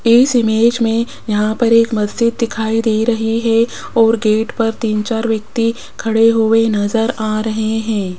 इस इमेज मे यहां पर एक मस्जिद दिखाई दे रही है और गेट पर तीन चार व्यक्ति खड़े हुए नजर आ रहे हैं।